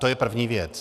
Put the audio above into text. To je první věc.